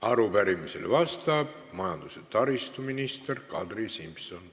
Arupärimisele vastab majandus- ja taristuminister Kadri Simson.